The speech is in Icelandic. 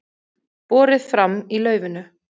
Borið fram í laufinu